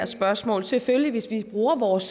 spørgsmål selvfølgelig hvis vi bruger vores